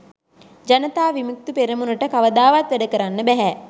ජනතා විමුක්ති පෙරමුණට කවදාවත් වැඩකරන්න බැහැ